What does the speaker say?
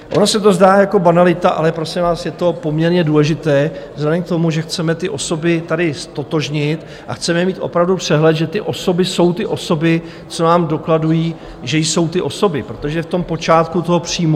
Ono se to zdá jako banalita, ale prosím vás, je to poměrně důležité vzhledem k tomu, že chceme ty osoby tady ztotožnit a chceme mít opravdu přehled, že ty osoby jsou ty osoby, co nám dokladují, že jsou ty osoby, protože v tom počátku toho příjmu...